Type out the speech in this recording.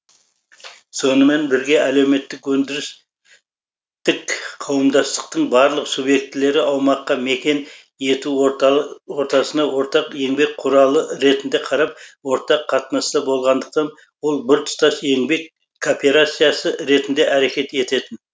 сонымен бірге әлеуметтік өндірістік қауымдастықтың барлық субъектілері аумаққа мекен ету ортасына ортақ еңбек құралы ретінде қарап ортақ қатынаста болғандықтан ол біртұтас еңбек кооперациясы ретінде әрекет ететін